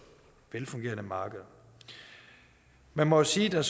velfungerende markeder man må sige at